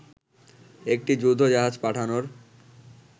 একটি যুদ্ধ জাহাজ পাঠানোর